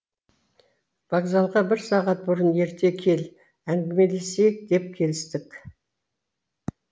вокзалға бір сағат бұрын ерте кел әңгімелесейік деп келістік